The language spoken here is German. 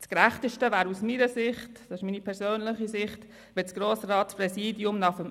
Das Gerechteste wäre aus meiner Sicht – das ist meine persönliche Sicht –, wenn das Grossratspräsidium nach dem